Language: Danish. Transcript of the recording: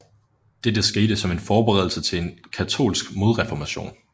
Dette skete som en forberedelse til en katolsk modreformation